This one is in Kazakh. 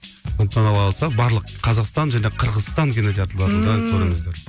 сондықтан алла қаласа барлық қазақстан және қырғызстан кинотеатрларында көріңіздер